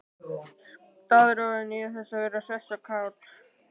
Staðráðin í að vera hress og kát.